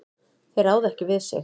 Þeir ráða ekki við sig.